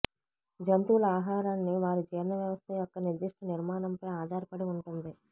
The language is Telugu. జంతువుల ఆహారాన్ని వారి జీర్ణ వ్యవస్థ యొక్క నిర్దిష్ట నిర్మాణంపై ఆధారపడి ఉంటుంది